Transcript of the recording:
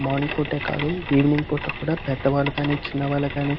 morning పూటే కాదు evening పూటే పెద్ద వాళ్ళు కానీ చిన్న వాళ్ళు కానీ--